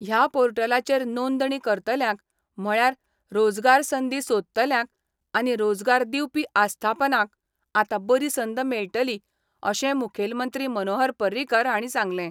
ह्या पोर्टलाचेर नोंदणी करतल्यांक म्हळ्यार रोजगार संदी सोदतल्यांक आनी रोजगार दिवपी आस्थापनांक आता बरी संद मेळटली अशें मुखेलमंत्री मनोहर पर्रीकार हांणी सांगलें.